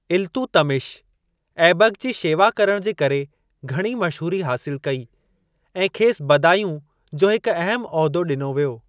इल्तुतमिश, ऐबक जी शेवा करण जे करे घणी मशहूरी हासिल कई ऐं खेसि बदायूं जो हिक अहमु उहिदो ॾिनो वियो।